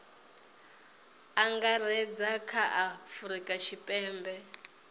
angaredza kha a afurika tshipembe